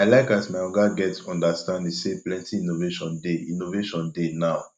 i like as my oga get understanding sey plenty innovation dey innovation dey now